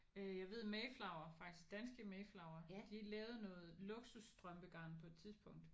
Øh jeg ved mayflower faktisk danske mayflower de lavede noget luksus strømpegarn på et tidspunkt